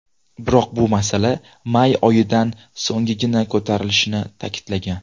Biroq bu masala may oyidan so‘nggina ko‘tarilishini ta’kidlagan.